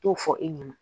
T'o fɔ e ɲɛna